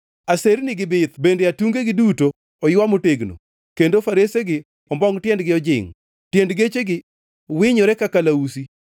Asernigi bith bende atungegi duto oywa motegno, kendo faresegi ombongʼ tiendgi ojingʼ, tiend gechegi winyore ka kalausi.